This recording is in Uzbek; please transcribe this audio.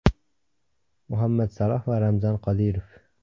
Muhammad Saloh va Ramzan Qodirov.